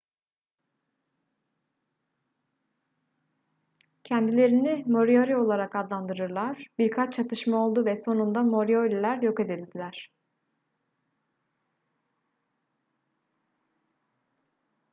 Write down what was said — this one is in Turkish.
kendilerini moriori olarak adlandırdılar birkaç çatışma oldu ve sonunda morioriler yok edildiler